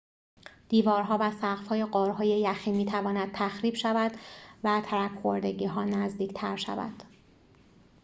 دیوارها و سقف‌های غارهای یخی می‌تواند تخریب شود و ترک خوردگی‌ها نزدیک‌تر شود